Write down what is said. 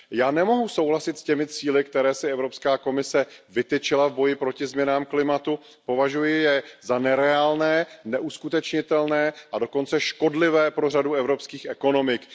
Já nemohu souhlasit s těmi cíli, které si Evropská komise vytyčila v boji proti změnám klimatu, považuji je za nereálné, neuskutečnitelné a dokonce škodlivé pro řadu evropských ekonomik.